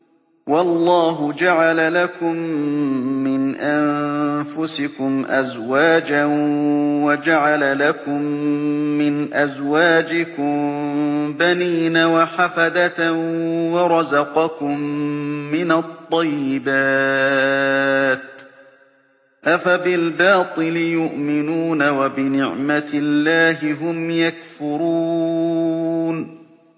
وَاللَّهُ جَعَلَ لَكُم مِّنْ أَنفُسِكُمْ أَزْوَاجًا وَجَعَلَ لَكُم مِّنْ أَزْوَاجِكُم بَنِينَ وَحَفَدَةً وَرَزَقَكُم مِّنَ الطَّيِّبَاتِ ۚ أَفَبِالْبَاطِلِ يُؤْمِنُونَ وَبِنِعْمَتِ اللَّهِ هُمْ يَكْفُرُونَ